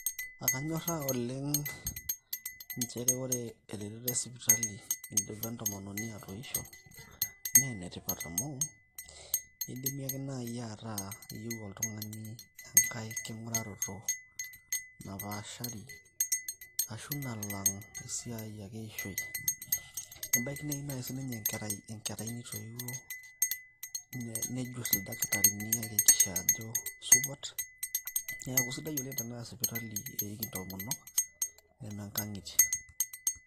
Kanyorra oleng nchere ore eretoto e sipitali idipa entomononi atoisho naa ene tipat amu idim ake naaji ataa iyieu oltung`ani enkae king`uraroto napaashari ashu nalang esiai ake e ishoi. Ebaiki neyieu sii ninye enkerai nitoiwuo nenyurr ildakitarini ayakikisha ajo kisupat. Niaku isidai oleng tenaa sipitali eiki entomonok neme nkang`itie.